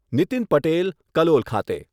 નિતિન પટેલ, કલોલ ખાતે